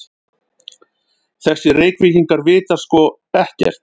Þessir Reykvíkingar vita sko ekkert!